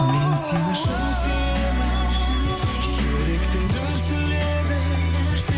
мен сені шын сүйемін жүректің дүрсілі едің